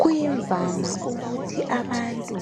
Kuyimvama ukuthi abantu